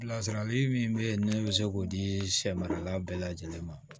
Lasarali min bɛ yen ne bɛ se k'o di sɛ marala bɛɛ lajɛlen ma